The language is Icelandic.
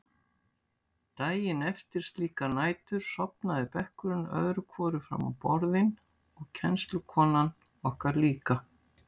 Daginn eftir slíkar nætur sofnaði bekkurinn öðru hvoru fram á borðin og kennslukonan okkar líka.